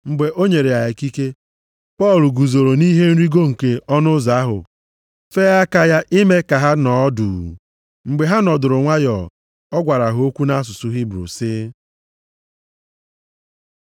Mgbe o nyere ya ikike, Pọl guzooro nʼihe nrigo nke ọnụ ụzọ ahụ fee aka ya ime ka ha nọọ duu. Mgbe ha nọdụrụ nwayọọ, ọ gwara ha okwu nʼasụsụ Hibru + 21:40 Maọbụ, Aramaik sị,